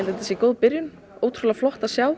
þetta sé góð byrjun ótrúlega flott að sjá